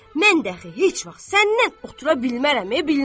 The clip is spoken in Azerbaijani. Mən də axı heç vaxt səndən otura bilmərəm, bilmərəm.